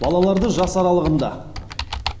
балаларды жас аралығында